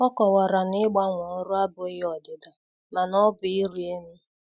Ọ kowara na ịgbanwe ọrụ abụghị ọdịda, mana ọ bụ ịrị elu.